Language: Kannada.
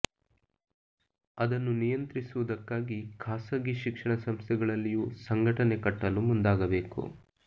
ಅದನ್ನು ನಿಯಂತ್ರಿಸುವುದಕ್ಕಾಗಿ ಖಾಸಗಿ ಶಿಕ್ಷಣ ಸಂಸ್ಥೆಗಳಲ್ಲಿಯೂ ಸಂಘಟನೆ ಕಟ್ಟಲು ಮುಂದಾಗಬೇಕು